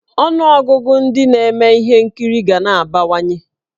Ọnụọgụgụ ndị na-eme ihe nkiri ga na-abawanye.